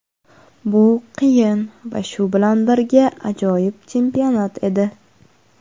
Bu qiyin va shu bilan birga ajoyib chempionat edi.